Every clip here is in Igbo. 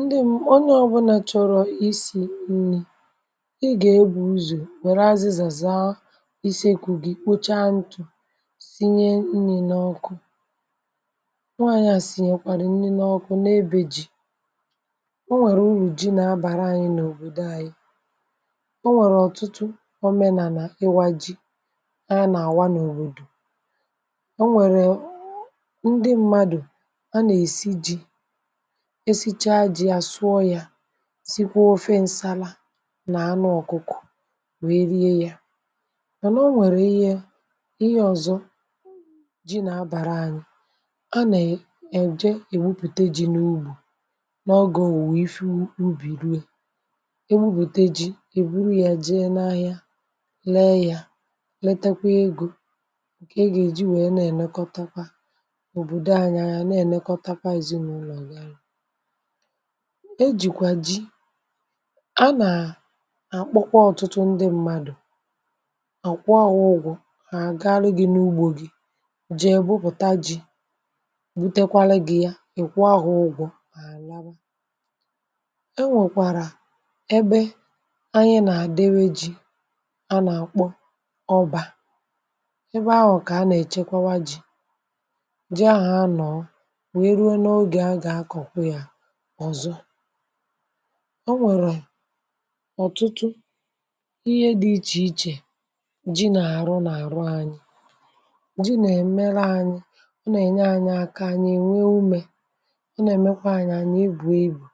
ndị m, onye ọbụla chọrọ isi̇ nni̇, ị gà ebu̇ ụzọ̀, wère azịzà, zaa ise ikù gị, kpocha ntụ̀, um sinye nni̇ n’ọkụ. nwaanyị̀ à sì, nyèkwàrì nni n’ọkụ na ebe jì. o nwèrè uru, ji̇ nà abàra anyị̇, n’òbòdò anyị. o nwèrè ọ̀tụtụ ọmenà nà ịwȧ ji, um a nà àwa n’òbòdò. o nwèrè ndị mmadù, a nà èsi ji̇ esicha ji̇, àsụọ yȧ, zikwa ofe nsala nà anụ ọ̀kụkụ̀, wee rie ya. mànà o nwèrè ihe, ihe ọ̀zọ ji̇ nà abàra anyị̇. a nà èje, èwupùte ji, n’ugbù, n’ogė wùwe ife ubì, ruo è ewupùte ji. èburù ya, jee n’ahịa, lee yȧ, um letekwa egȯ, ǹkè ị gà èji wèe. na-ènekọtakwa òbòdo anya, ya na-ènekọtakwa èzinụlọ̀ àgà àlà. e jìkwà ji, a nàà àkpọkwa ọ̀tụtụ ndị mmadụ̀, à kwụ ahụ ụgwọ̇. hà àgaarụ gi̇, n’ugbȯ gi̇, jì èbupùta ji̇, um butekwalụ gi̇ ya. ì kwụọ ahụ ụgwọ̇ àlà e. nwèkwàrà ebe, anyị nà-àdewė ji, a nà kpọ ọbȧ, ebe ahụ̀, kà a nà-èchekwawa ji̇. ji ahụ̀, anọ̀ ọ̀zọ. o nwèrè ọ̀tụtụ ihe dị̇ ichè ichè, ji nà-àrụ, n’àrụ anyị. ji nà-èmela anyị, ọ nà-ènye anyị aka, anyị ènwe umė. ọ nà-èmekwa anyị, anyị ebù egbù.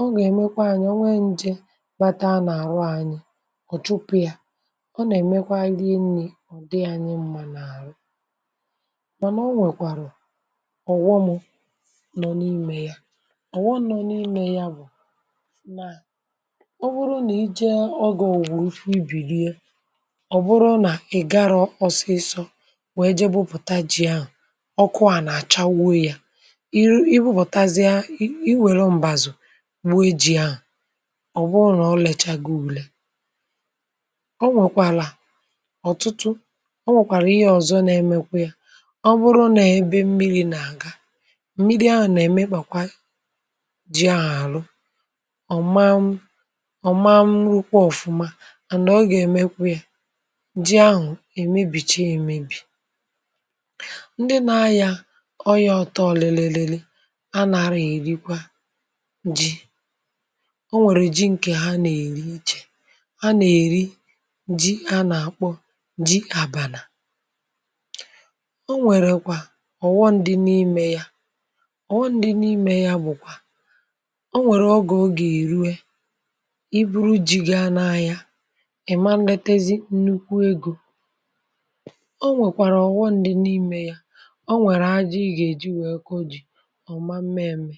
ọ nà-èmekwa anyị, ọ nwee ǹjè bata a n’àrụ anyị, ọ̀ chụpụ ya. ọ nà-èmekwa nri, enyi ọ̀dị yȧ, anyị mmȧ, n’àrụ. mànà o nwèkwàrụ̀ ọ̀ghọmụ̇, ọ̀ nọ̀ n’imė ya. bụ̀ nà ọ bụrụ nà ije, ọgà ògwùrù ifu ibìrie. ọ̀ bụrụ nà ị̀garọ̇ ọsịsọ, nwèe je bupùta ji ahụ̀, ọkụ à nà-àchawuo yȧ. i ru, i bupùtazie, iwere m̀bazù, gbuo ji ahụ̀. ọ bụrụ nà ọ lèchagị ukwuu, o nwèkwàlà ọ̀tụtụ. o nwèkwàrà ihe ọ̀zọ, na-emekwa yȧ. ọ bụrụ nà ebe mmiri̇ nà ga, ọ̀man ọ̀man, rụkwa ọ̀fụma, ànà ọ gà-èmekwa yȧ. ji ahụ̀ èmibìcha, èmibì, ndị na-ayȧ ọyȧ ọtọ. lelèle, lèle, a nà-arụ yȧ, èrikwa ji. o nwèrè ji ǹkè, ha nà-èri ichè, a nà-èri ji, a nà-àkpọ ji àbànà. o nwèrèkwa ọ̀wọ, ndị n’imė ya. o nwèrè ọgà, ogè èru, e buru jì, ga n’ahịa. ị̀ ma, nletezi nnukwu egȯ. o nwèkwàrà ọ̀wọ, ndị n’imė ya. o nwèrè ha ji, gà-èji wèe kọjì ọ̀ma, m̀mẹmẹ̀.